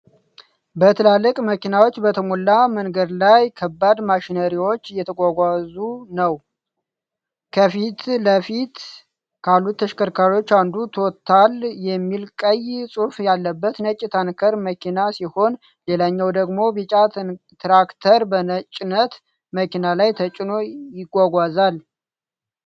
በትላልቅ መኪናዎች በተሞላ መንገድ ላይ ከባድ ማሽነሪዎች እየተጓጓዙ ነው። ከፊት ለፊት ካሉት ተሽከርካሪዎች አንዱ ቶታል የሚል ቀይ ጽሑፍ ያለበት ነጭ ታንከር መኪና ሲሆን፣ ሌላኛው ደግሞ ቢጫ ትራክተር በጭነት መኪና ላይ ተጭኖ ይጓጓዛል።